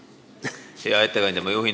Hea ettekandja!